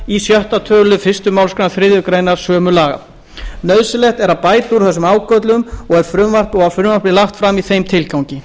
í sjötta töluliðar fyrstu málsgrein þriðju grein sömu laga nauðsynlegt er að bæta úr þessum ágöllum og var frumvarpið lagt fram í þeim tilgangi